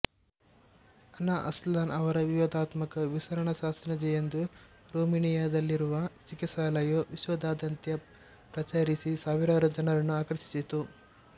ಅನಾ ಅಸ್ಲಾನ್ ರವರ ವಿವಾದಾತ್ಮಕ ವಿಸರಣಶಾಸ್ತ್ರಜ್ಞ ಎಂದು ರೊಮೇನಿಯಾದಲ್ಲಿರುವ ಚಿಕಿತ್ಸಾಲಯವು ವಿಶ್ವದಾದ್ಯಂತ ಪ್ರಚಾರಿಸಿ ಸಾವಿರಾರು ಜನರನ್ನು ಆಕರ್ಷಿಸಿತು